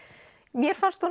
mér fannst hún